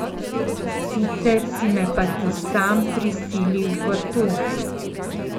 Sicer si me pa ti sam prisilil v to.